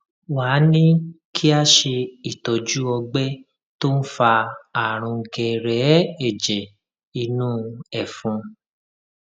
wá a ní kí a ṣe itọju ọgbẹ tó ń fa àrùn gẹrẹẹ ẹjẹ inú ẹfun